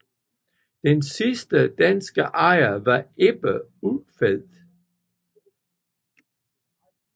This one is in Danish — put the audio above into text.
Den sidste danske ejer var Ebbe Ulfeldt